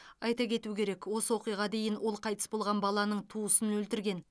айта кету керек осы оқиға дейін ол қайтыс болған баланың туысын өлтірген